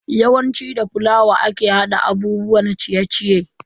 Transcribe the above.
Yawanci da fulawa ake hada abubuwan ciye-ciye.